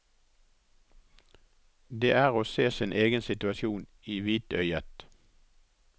Det er å se sin egen situasjon i hvitøyet.